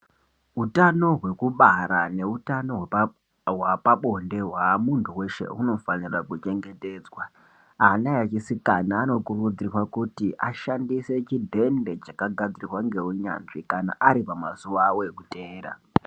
Hutano hwekubara nehutano wepabonde ,wa muntu weshe unofanira kuchengetedzwa. Ana echisikana anokurudzirwa kuti ashandise chidende chakagadzirwa ngewunyadzwi kana aripamazuva awo ekutera.